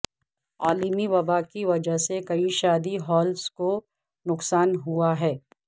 عالمی وبا کی وجہ سے کئی شادی ہالز کو نقصان ہوا ہے